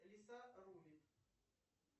лиса рулит